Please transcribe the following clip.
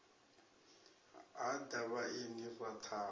ha ḓa vhaeni ra ṱhavha